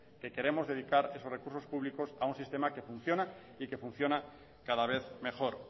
que queremos dedicar esos recursos públicos a un sistema que funciona y que funciona cada vez mejor